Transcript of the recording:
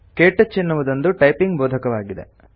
ಕೆಟಚ್ ಎನ್ನುವುದೊಂದು ಟೈಪಿಂಗ್ ಬೋಧಕವಾಗಿದೆ